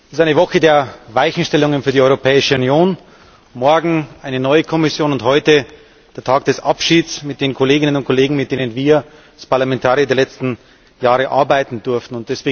Es ist eine Woche der Weichenstellungen für die Europäische Union morgen eine neue Kommission und heute der Tag des Abschieds von den Kolleginnen und Kollegen, mit denen wir als Parlamentarier die letzten Jahre arbeiten durften.